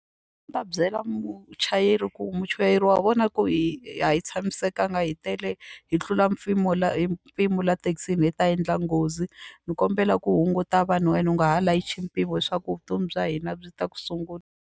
ta byela muchayeri ku muchayeri wa vona ku hi a hi tshamisekanga hi tele hi tlula la mpimo la thekisini hi ta endla nghozi ni kombela ku hunguta vanhu wena u nga ha layichi mpimo hi swa ku vutomi bya hina byi ta ku sungula.